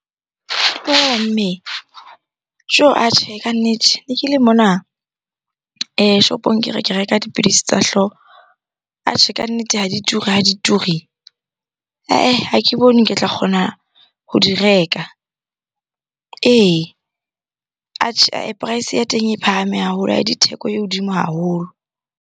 Mme, . Atjhehe kannete ne ke le mona shopong ke re ke reka dipidisi tsa hlooho. Atjhe kannete ha di ture, ha di ture. Eh-eh ha ke bone ke tla kgona ho di reka. Ee, atjhe price ya teng e phahame haholo, di theko e hodimo haholo.